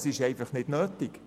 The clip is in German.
Es ist einfach nicht nötig.